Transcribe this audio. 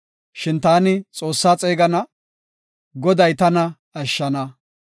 Shin taani Xoossaa xeegana; Goday tana ashshana.